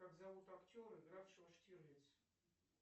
как зовут актера игравшего штирлиц